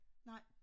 Nej